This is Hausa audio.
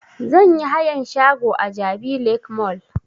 Zan yi hayan shago a jabi lake mall